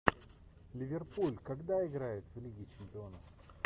ливерпуль когда играет в лиге чемпионов